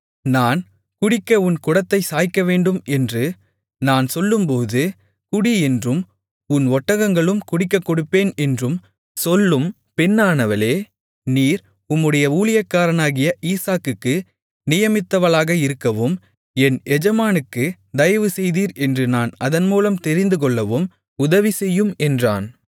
நான் குடிக்க உன் குடத்தைச் சாய்க்கவேண்டும் என்று நான் சொல்லும்போது குடி என்றும் உன் ஒட்டகங்களும் குடிக்கக் கொடுப்பேன் என்றும் சொல்லும் பெண்ணானவளே நீர் உம்முடைய ஊழியக்காரனாகிய ஈசாக்குக்கு நியமித்தவளாக இருக்கவும் என் எஜமானுக்கு தயவுசெய்தீர் என்று நான் அதன்மூலம் தெரிந்துகொள்ளவும் உதவிசெய்யும் என்றான்